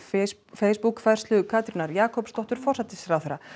Facebook færslu Katrínar Jakobsdóttur forsætisráðherra